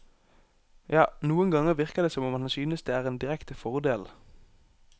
Ja, noen ganger virker det som om han synes det er en direkte fordel.